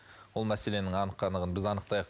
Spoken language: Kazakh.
ол мәселенің анық қанығын біз анықтайық